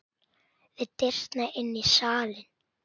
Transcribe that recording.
Við dyrnar inn í salinn.